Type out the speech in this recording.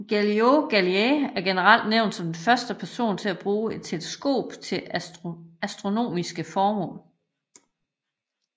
Galileo Galilei er generelt nævnt som den første person til at bruge et teleskop til astronomiske formål